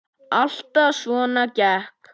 Alltaf svona kekk?